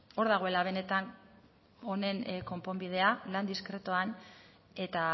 hor dagoela benetan honen konponbidea lan diskretuan eta